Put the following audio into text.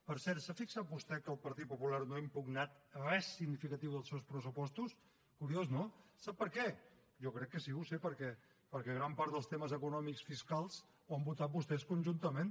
per cert s’ha fixat vostè que el partit popular no ha impugnat res significatiu dels seus pressupostos curiós no sap per què jo crec que sí que ho sé perquè gran part dels temes econòmics fiscals ho han votat vostès conjuntament